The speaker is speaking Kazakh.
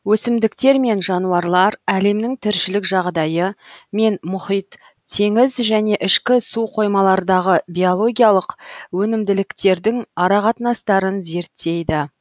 өсімдіктер мен жануарлар әлемінің тіршілік жағдайы мен мұхит теңіз және ішкі суқоймалардағы биологиялық өнімділіктердің арақатынастарын зерттейді